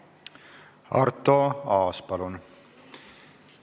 Arto Aas, palun!